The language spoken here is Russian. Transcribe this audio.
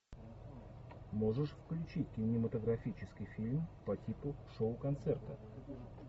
можешь включить кинематографический фильм по типу шоу концерта